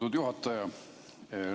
Hea juhataja!